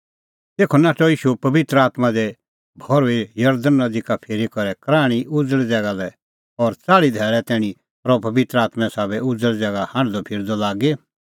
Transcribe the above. तेखअ नाठअ ईशू पबित्र आत्मां दी भर्हुई जरदण नदी का फिरी करै कराहणीं उज़ल़ ज़ैगा लै और च़ाल़्ही धैल़ै तैणीं रहअ पबित्र आत्में साबै उज़ल़ ज़ैगा हांढदअफिरदअ लागी